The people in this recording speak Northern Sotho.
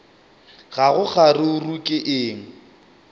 ga go kgaruru ke eng